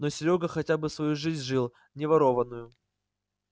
но серёга хотя бы свою жизнь жил не ворованную